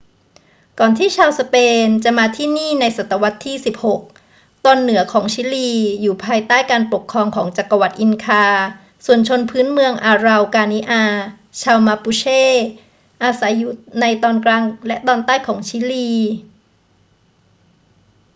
ก่อนที่ชาวสเปนจะมาที่นี่ในศตวรรษที่ 16 ตอนเหนือของชิลีอยู่ภายใต้การปกครองของจักรวรรดิอินคา ส่วนชนพื้นเมืองอาเรากานิอา ชาวมาปูเช อาศัยอยู่ในตอนกลางและตอนใต้ของชิลี